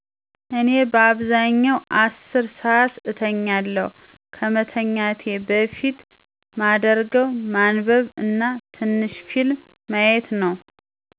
እኔ በአብዛኛው 10 ሰዓት እተኛለሁ፣ ከመተኛት በፊት ማደርገው ማንበብ እና ትንሽ ፊልም ማየት ነው።